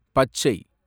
பச்சை